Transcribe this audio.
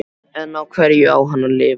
En á hverju á hann að lifa?